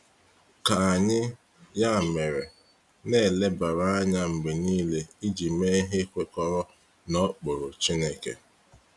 Ka anyị, ya mere, na-elebara anya mgbe niile iji mee ihe kwekọrọ na okpuru Chineke.